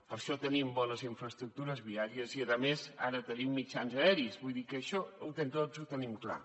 per això tenim bones infraestructures viàries i a més ara tenim mitjans aeris vull dir que això tots ho tenim clar